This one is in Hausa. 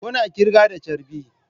Kuna kirga da charbi?